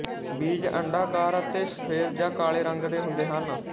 ਬੀਜ ਅੰਡਾਕਾਰ ਅਤੇ ਸਫ਼ੈਦ ਜਾਂ ਕਾਲੇ ਰੰਗ ਦੇ ਹੁੰਦੇ ਹਨ